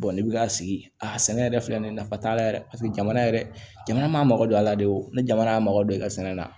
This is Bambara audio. ni bi k'a sigi a sɛnɛ yɛrɛ filɛ nin ye nafa t'a la yɛrɛ paseke jamana yɛrɛ jamana m'a mago don a la de o ni jamana y'a mago don i ka sɛnɛ la